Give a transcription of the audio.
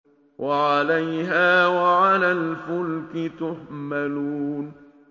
وَعَلَيْهَا وَعَلَى الْفُلْكِ تُحْمَلُونَ